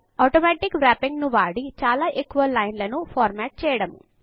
automatic wrapping ను వాడి చాలా ఎక్కువ లైన్ లను ఫార్మాట్ చేయడము